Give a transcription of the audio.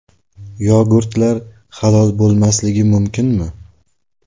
Yogurtlar halol bo‘lmasligi mumkinmi?.